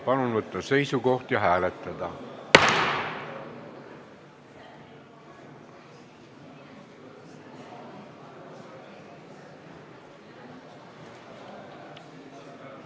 Palun võtta seisukoht ja hääletada!